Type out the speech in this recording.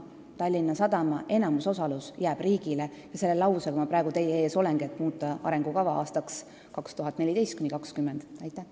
Tallinna Sadama enamusosalus jääb riigile ja selle plaaniga ma praegu teie ees olengi, et muuta arengukava aastateks 2014–2020.